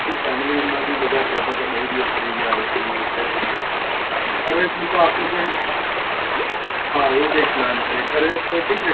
છે. family માં બી બધાં કહેતા હતાં, બહું દિવસ થઈ ગયા, આવું તે એટલે, ઘરેથી તો આપડે જેમ, હાં એવું કઈંક plan કરીએ. ખરેખર તો ઠીક છે.